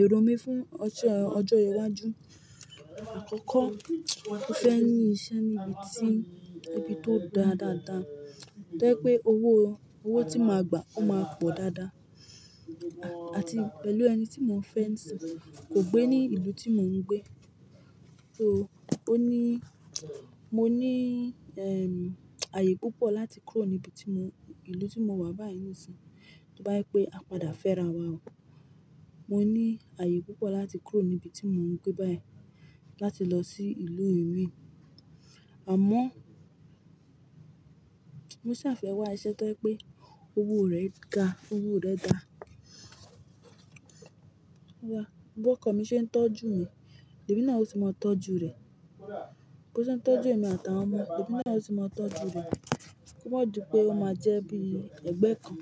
Ẹ̀rọ mi fún ọjọ́ iwájú, àkọ́kọ́ mo fẹ́ ní iṣẹ́ níbi tí ibi tó dáa dáadáa, tó jẹ́ pé owó tí mo mà gbà ó máa pọ̀ dáadáa àti pẹ̀lú ẹni tí mo nfẹ́ ń sìn kò gbé ní ìlú tí mò ń gbé. Ó ní, mo ní, ẹↄm, ààyè púpọ̀ láti kúrò níbi tí mò ń, ìlú tí mo wà báyìí nísìnyí, tó bá jẹ pé a padà fẹ́ra wa o. Mo ní ààyè púpọ̀ láti kúrò níbi tí mò ń gbé báyìí láti lọ sí ìlú mi. Àmọ́, mo ṣàfẹ́wàá iṣẹ́ tó ẹ́ pé owó rẹ̀ ga, owó rẹ̀ dáa. Bọ́ko mi ṣe ń tọ́jú mi, èmi náà ó sì máa tọ́jú rẹ̀. Bo ṣe ń tọ́jú emi àtàwọn ọmọ, èmi náà ó sì máa tọ́jú rẹ̀. Kò mọ̀ je pé ó máa jẹ́ bí ẹ̀gbẹ́ kan.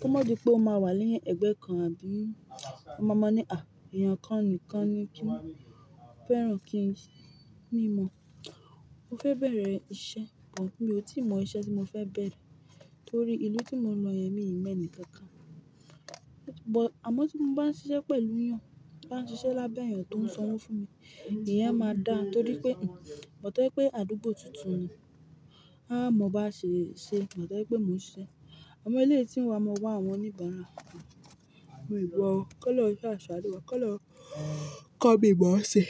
Kò mọ̀ dí pé ó máa wà ni ẹ̀gbẹ́ kan, àbí? Ọ ma máa ní, "À, èèyàn kan nìkan ni kí n fẹ́ràn kí ń ṣe." Ní mọ. Mo fẹ́ bẹ̀rẹ̀ iṣẹ́ kan kí n, mo tí mọ iṣẹ́ tí mo fẹ́ bẹ̀rẹ̀ torí ìlú tí mo lọ yẹn míì mẹ́ni kan ká. But, àmọ́ tí mo bá ń ṣiṣẹ́ pẹ̀lú èèyàn, ti nbá ń ṣiṣẹ́ lábẹ́ èèyàn tó ń sanwó fún mi, ìyẹn máa dáa torí pé, but tọ́ ẹ́ pé àdúgbò tuntun ni. A mọ bá ṣe, ṣe, but tọ́ ẹ́ pé mò ń ṣe. Awon eleyi tin wa ma wa awon onibon nla. Mi o mọ́ o, kọ́lọun sáa sanu wa koloun ko mi mo se.